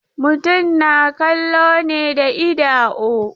Mutum na kallo ne da idao.